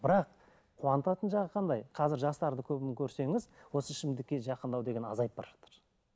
бірақ қуантатын жағы қандай қазір жастарды көбін көрсеңіз осы ішімдікке жақындау деген азайып бара жатыр